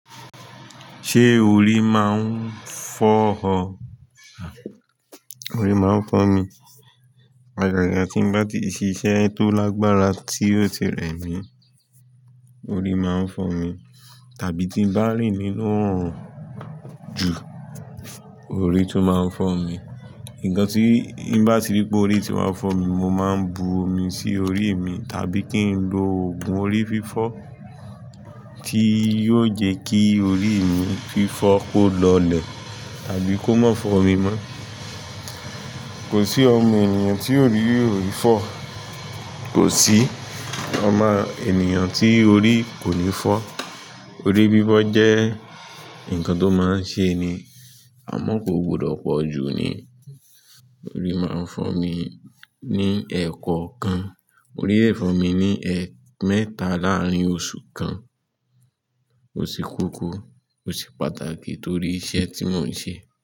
Ṣé orí máa ń fọ́ ọ? Orí máa ń fọ́ mi. Agàgà tí mo bá ti ṣiṣẹ́ tó lágbára tí ó ti rẹ̀ mí, orí máa ń fọ́ mi, tàbí tí mo bá rìn nínú oòrùn jù, orí tún máa ń fọ́ mi. Nnkan tí bá ti rí pé orí ti wá fọ́ mi, mo máa ń bu omi sí orí mi, tàbí kí n lo òògùn orí fífọ́ tí yóò jẹ́ kí orí mi fífọ́ kó lọlẹ̀, tàbí kó má fọ́ mi mọ́. Kò sí ọmọ ènìyàn tí orí kò ní fọ́, orí fífọ́ jẹ́ nǹkan tó máa ń ṣe ni. A mọ̀ kó gbọdọ̀ pọ̀jù ni. Orí máa ń fọ́ mi ní ẹẹ̀kokan, orí lè fọ́ mi ní ẹẹ́ẹ̀mẹ́ta láàárín oṣù kan. Ò se koko, ò se pàtàkì torí iṣẹ́ tí mò ń ṣe.